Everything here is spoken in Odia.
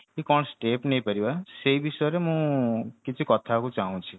କି କଣ step ନେଇ ପାରିବା ସେଇ ବିଷୟରେ ମୁଁ କିଛି କଥା ହବାକୁ ଚାହୁଛି